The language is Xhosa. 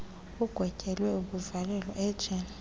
agwetyelwe ukuvalelwa ejele